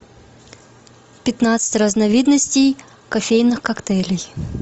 пятнадцать разновидностей кофейных коктейлей